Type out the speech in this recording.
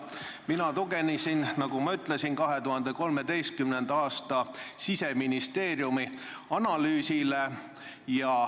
Mina tuginesin, nagu ma ütlesin, 2013. aasta Siseministeeriumi analüüsile.